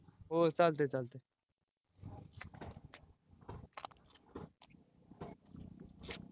हो चालते चालते